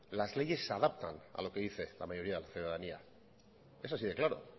las leyes se adaptan a lo que dice la mayoría de la ciudadanía es así de claro